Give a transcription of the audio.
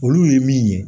Olu ye min ye